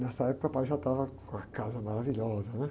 Nessa época, meu pai já estava com a casa maravilhosa, né?